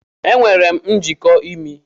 Enwere m njiko imi.